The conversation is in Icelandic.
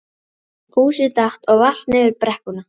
Fúsi datt og valt niður brekkuna.